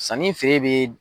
Sanni fe bɛ